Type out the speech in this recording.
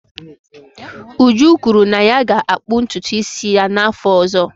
Uju kwuru na ya ga-akpụ ntutu isi ya n'afọ ọzọ.